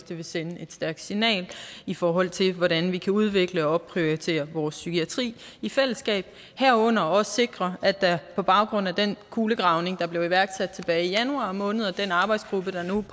det vil sende et stærkt signal i forhold til hvordan vi kan udvikle og opprioritere vores psykiatri i fællesskab herunder også sikre at der på baggrund af den kulegravning der blev iværksat tilbage i januar måned arbejdes i den arbejdsgruppe der nu